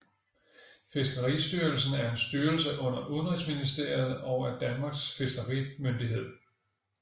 Fiskeristyrelsen er en styrelse under Udenrigsministeriet og er Danmarks fiskerimyndighed